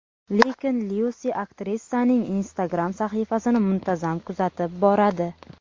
Lekin Lyusi aktrisaning Instagram sahifasini muntazam kuzatib boradi.